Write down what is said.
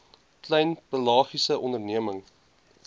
klein pelagiese onderneming